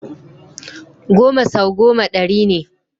Goma sau goma ɗari ne.